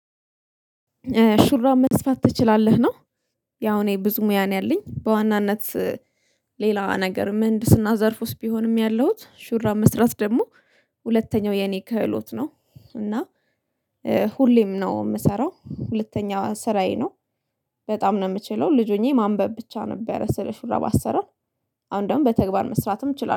ሹራብ መስፋት ትችላለህ ነው? ያው እኔ ብዙ ሙያ ነው ያለኝ በዋናነት። ሌላ ነገር ምህንድስና ዘርፍ ውስጥ ቢሆንም ያለሁት ሹራ መስራት ደሞ። ሁለተኛው የኔ ክህሎት ነው እና እ ሁሌም ነው እምሰራው ሁለተኛው ስራዬ ነው። በጣም ነው እምችለው ልጅ ሆኜ ማንበብ ብቻ ነበረ ስል ሹራብ አሰራር። አሁን ደግሞ በተግባር መስራትም እችላለሁ